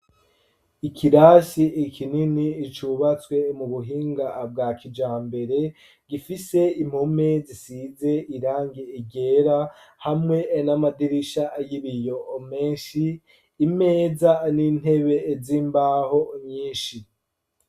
Ikirasi kinini cubatswe mu buhinga bwa kijambere gifise impome zisize irangi ryera hamwe n'amadirisha y'ibiyo menshi, imeza n'intebe z'imbaho nyinshi.